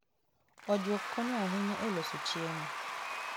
Ojuok konyo ahinya e loso chiemo.